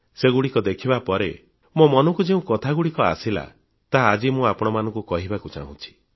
ସେଗଡୁ ଠିକ ଦେଖିବା ପରେ ମୋ ମନକୁ ଯେଉଁ କଥାଗଡୁ ଠିକ ଆସିଲା ତାହା ଆଜି ମୁଁ ଆପଣମାନଙ୍କୁ କହିବାକୁ ଚାହୁଁଛି